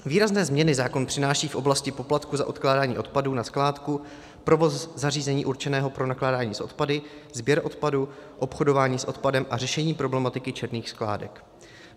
Výrazné změny zákon přináší v oblasti poplatku za odkládání odpadů na skládku, provoz zařízení určeného pro nakládání s odpady, sběr odpadu, obchodování s odpadem a řešení problematiky černých skládek.